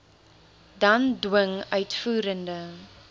dan dwing uitvoerende